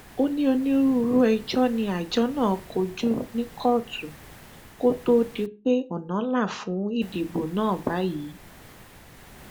a gbé ẹjọ yìí lọ síléẹjọ gíga tìlú ọṣọgbó ṣùgbọn ìdájọ tí wọn fún mi níbẹ kò tẹ mi lọrùn